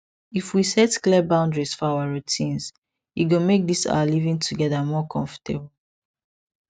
if we set clear boundary for our routines e go make this our living together more comfortable